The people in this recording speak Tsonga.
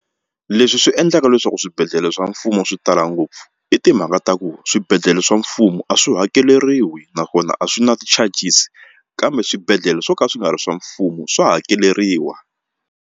Leswi swi endlaka leswaku swibedhlele swa mfumo swi tala ngopfu i timhaka ta ku swibedhlele swa mfumo a swi hakeriwi naswona a swi na ti-charges kambe swibedhlele swo ka swi nga ri swa mfumo swa hakeleriwa.